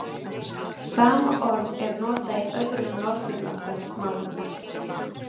Sama orð er notað í öðrum Norðurlandamálum.